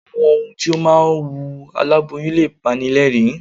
Àwọn ohun tí ó máa ń wú aláboyún lè pani lẹ́ẹ̀rín.